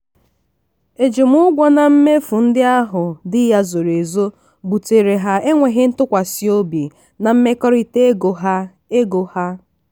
ejimụgwọ na mmefu ndị ahụ di ya zoro ezo butere ha enwéghị ntụkwasịobi na mmekọrịta ego ha. ego ha.